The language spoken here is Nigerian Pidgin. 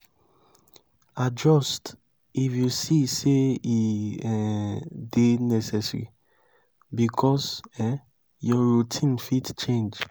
adjust if you see sey e um dey necessary because um your routine fit change